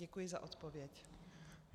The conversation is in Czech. Děkuji za odpověď.